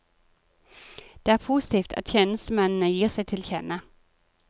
Det er positivt at tjenestemennene gir seg til kjenne.